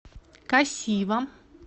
касива